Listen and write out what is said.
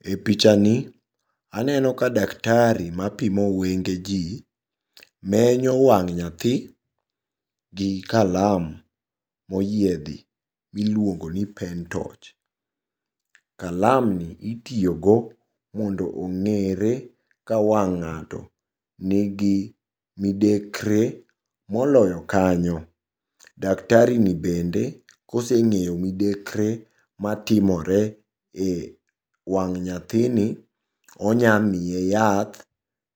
E pichani aneno ka daktari mapimo wenge jii menyo wang' nyathi gi kalam moyiedhi miluongoni pen torch. Kalamni itiyogo mondo ong'ere ka wang' ng'ato nigi midekre moloyo kanyo daktarini bende koseng'eyo midekre matimore e wang' nyathini onyamiye yath